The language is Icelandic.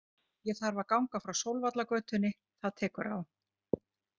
Ég þarf að ganga frá Sólvallagötunni, það tekur á.